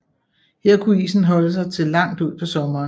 Her kunne isen holde sig til langt ud på sommeren